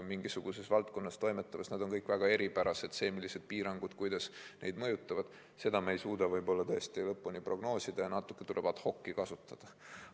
Mingisuguses valdkonnas toimetavad ettevõtted võivad olla väga eripärased ja seda, kuidas mingid piirangud neid mõjutavad, me ei suuda tõesti lõpuni prognoosida ja natuke tuleb ad hoc´i kasutada.